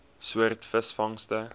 soort visvangste